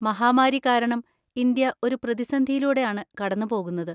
മഹാമാരി കാരണം ഇന്ത്യ ഒരു പ്രതിസന്ധിയിലൂടെ ആണ് കടന്നുപോകുന്നത്.